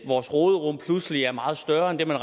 vores råderum pludselig er meget større end det man